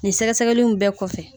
Nin sɛgɛsɛgɛliw bɛɛ kɔfɛ